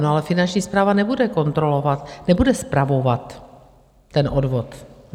No, ale Finanční správa nebude kontrolovat, nebude spravovat ten odvod.